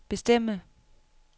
bestemme